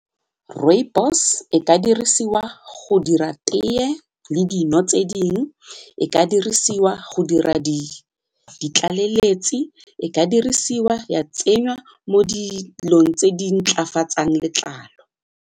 Rooibos e ka dirisiwa go dira tee le dino tse dingwe, e ka dirisiwa go dira di ditlaleletsi, e ka dirisiwa ya tsenyiwa mo dilong tse di ntlafatsang letlalo.